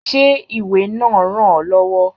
Ṣé ìwé náà ràn ọ lọ́wọ́?